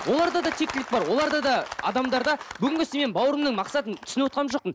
олар да да тектілік бар оларда да адамдарда бүгінгі сенің бауырым мақсатыңды түсініп отырған жоқпын